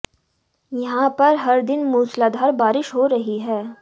यहां पर हर दिन मूसलाधार बारिश हो रही है